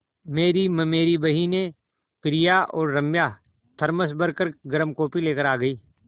मेरी ममेरी बहिनें प्रिया और राम्या थरमस भर गर्म कॉफ़ी लेकर आ गईं